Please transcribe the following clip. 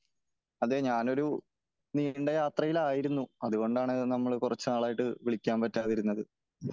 അതേ ഞാനൊരു നീണ്ട യാത്രയിലായിരുന്നു . അതുകൊണ്ടാണ് നമ്മൾ കുറച്ചു നാളായിട്ട് വിളിക്കാൻ പറ്റാതിരുന്നത് .